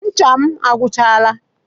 Ncha m agwuchaala.